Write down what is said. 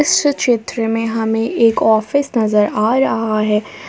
इस चित्र में हमें एक ऑफिस नजर आ रहा है।